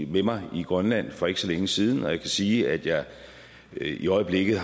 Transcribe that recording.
med mig i grønland for ikke så længe siden og jeg kan sige at jeg i øjeblikket